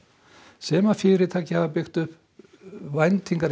sem fyrirtækin hafa byggt upp væntingar